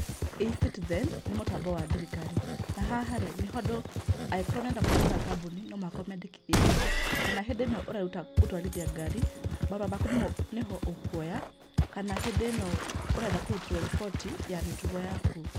eCitizen nĩ mutambo wa thirikari na haha rĩ angĩkorwo nĩ ũrenda kũhingũta kambuni no mũhaka ũmĩ andĩkithie haha. Kana hĩndĩ ĩno ũreruta gũtwarithia ngari marũa maku nĩho ũkwoya. Kana hĩndi ĩno ũrenda kũrũtĩrwo riboti ya mĩtugo yaku.